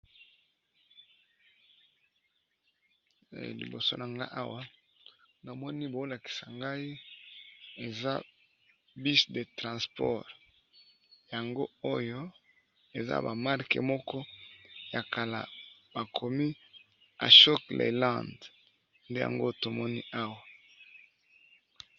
Liboso nangai Awa nazokomona eza bus de transport yango oyo eza ba marque ya kala bakomi ashok Land nde yango tomoni Awa.